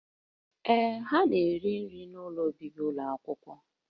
Ee, ha na-eri nri n'ụlọ obibi ụlọ akwụkwọ